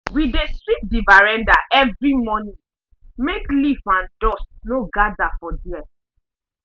we dey sweep the veranda every morning make leaf and dust no gather for there.